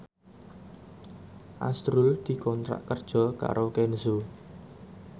azrul dikontrak kerja karo Kenzo